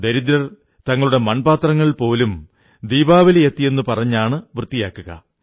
ദരിദ്രർ തങ്ങളുടെ മൺപാത്രങ്ങൾ പോലും ദീപാവലി എത്തിയെന്നു പറഞ്ഞാണ് വൃത്തിയാക്കുക